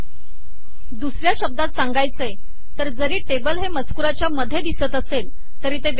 दुसऱ्या शब्दात सांगायचे तर जरी टेबल हे मजकुराच्या मध्ये दिसत असेल तरी ते वेगळे आहे